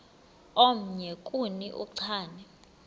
omnye kuni uchane